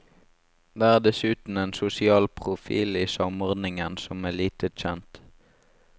Det er dessuten en sosial profil i samordningen som er lite kjent.